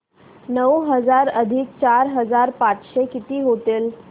नऊ हजार अधिक चार हजार पाचशे किती होतील